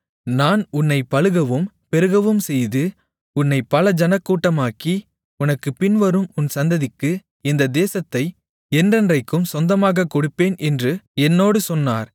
நான் உன்னைப் பலுகவும் பெருகவும் செய்து உன்னைப் பல ஜனக்கூட்டமாக்கி உனக்குப் பின்வரும் உன் சந்ததிக்கு இந்த தேசத்தை என்றென்றைக்கும் சொந்தமாகக் கொடுப்பேன் என்று என்னோடு சொன்னார்